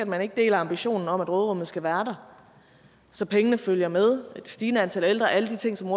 man ikke deler ambitionen om at råderummet skal være der så pengene følger med det stigende antal ældre alle de ting som